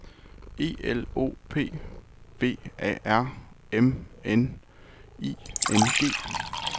E L O P V A R M N I N G